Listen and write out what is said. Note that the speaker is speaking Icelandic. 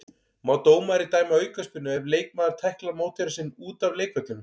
Má dómari dæma aukaspyrnu ef leikmaður tæklar mótherja sinn út af leikvellinum?